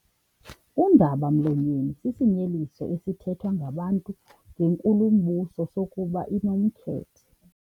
Undaba-mlonyeni sisinyeliso esithethwa ngabantu ngenkulumbuso sokuba inomkhethe.